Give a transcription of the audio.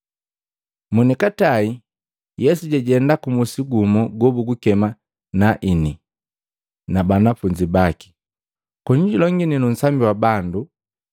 Monikatae, Yesu jajenda ku musi gumu gobugukema Naini na banafunzi baki, koni julongini nu usambi wa bandu.